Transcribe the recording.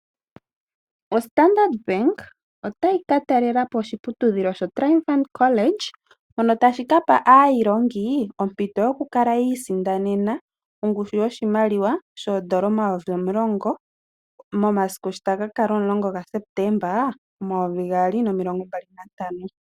O Standard Bank otayi ka talelapo oshiputudhilo sho Triumphant College. Mono tashi kapa aayilongi ompito yoku kiisindanena ongushu yoshimaliwa shoodola omayovi omulongo momasiku sho taga ka kala omulongo ga Septemba omayovi gaali nomilongo mbali nantano.